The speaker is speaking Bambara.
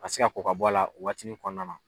ka se ka kɔ ka bɔ a la o waatini kɔnɔna na